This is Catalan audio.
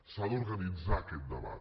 s’ha d’organitzar aquest debat